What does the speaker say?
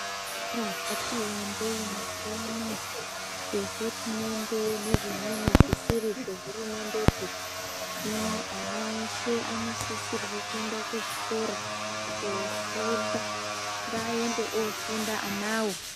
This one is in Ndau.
Zvikora zvati wandei mazuwaanaa, zvehurumende nezvimweni zvisiri zvehurumendepi, hino ana eshe anosisirwe kuende kuzvikora kofunda. Ngaende ofunda anawo.